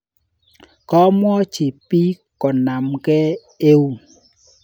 Komwochi piik ko namkei eun.